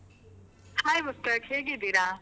Hai Mushtaq, ಹೇಗಿದ್ದೀರಾ?